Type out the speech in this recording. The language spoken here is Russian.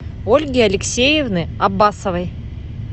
ольги алексеевны аббасовой